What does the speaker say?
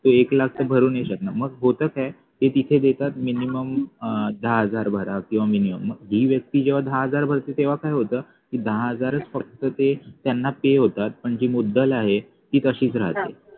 ते एक लाख ते भरू नाही शकणार मग होत काय ते तिथे देतात minimum अह दहा हजार भरा किंवा minimum ही व्यक्ती जेव्हा दहा हजार भरते तेव्हा काय होत ती दहा हजारच फक्त ते त्यांना ते होतात पण जी मुद्दल आहे ती तशीच राहते.